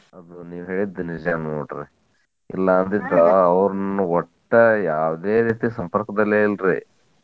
ಆಮೇಲೆ ನೀವ್ ಹೇಳಿದ್ದ ನಿಜಾ ನೋಡ್ರಿ ಇಲ್ಲಾ ಅಂದಿದ್ರ ಆವ್ರ್ನ್ ಒಟ್ಟ ಯಾವದೇ ರೀತಿ ಸಂಪರ್ಕದಲ್ಲೇ ಇಲ್ರಿ.